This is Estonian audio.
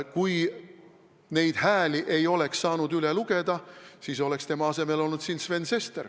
Kui neid hääli ei oleks saanud üle lugeda, siis oleks tema asemel olnud siin Sven Sester.